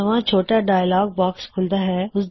ਨਵਾਂ ਛੋਟਾ ਜਿਹਾ ਡਾਇਲੌਗ ਬਾਕ੍ਸ ਖੂੱਲ਼ਦਾ ਹੈ